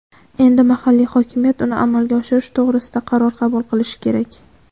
endi mahalliy hokimiyat uni amalga oshirish to‘g‘risida qaror qabul qilishi kerak.